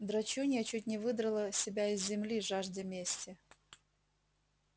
драчунья чуть не выдрала себя из земли жаждя мести